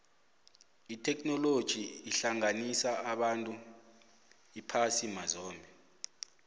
itheknoloji ihlanganisa abantu ephasini mazombe